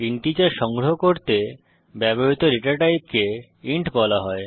integer সংগ্রহ করতে ব্যবহৃত ডেটা টাইপকে ইন্ট বলা হয়